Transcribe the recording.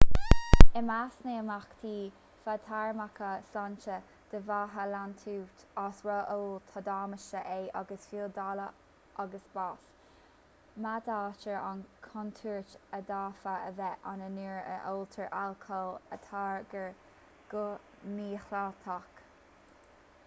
i measc na n-imeachtaí fadtéarmacha sláinte a d'fhéadfadh leanúint as ró-ól tá damáiste ae agus fiú daille agus bás méadaítear an chontúirt a d'fhéadfadh a bheith ann nuair a óltar alcól a táirgeadh go mídhleathach